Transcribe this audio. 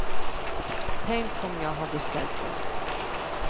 Tänk om jag hade ställt upp.